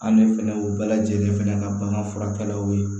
An ne fɛnɛ y'o bɛɛ lajɛlen fɛnɛ ka bagan furakɛ